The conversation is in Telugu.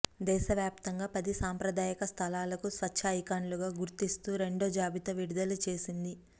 దేశవ్యాప్తంగా పది సాంప్రదాయక స్థలాలకు స్వచ్ఛ ఐకాన్లుగా గుర్తిస్తూ రెండో జాబితా విడుదల చేసింది